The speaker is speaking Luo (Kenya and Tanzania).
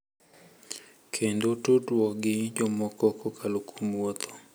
kendo tudruok gi jomoko kokalo kuom wuotho.